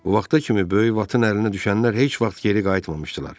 Bu vaxta kimi böyük Vatın əlinə düşənlər heç vaxt geri qayıtmamışdılar.